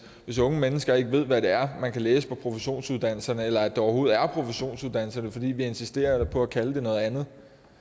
hvis unge mennesker ikke ved hvad det er man kan læse på professionsuddannelserne eller at der overhovedet er professionsuddannelser fordi vi insisterer på at kalde dem noget andet